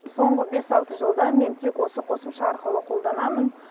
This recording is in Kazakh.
соңғы бес алты жылда мен тек осы қосымша арқылы қолданамын